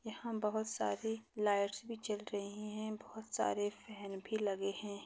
यहा बहुत सारी लाइटस भी जल रही है। बहुत सारे फॅन भी लगे है।